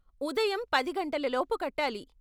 ఉదయం పది గంటలలోపు కట్టాలి.